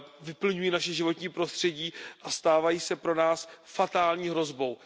vyplňují naše životní prostředí a stávají se pro nás fatální hrozbou.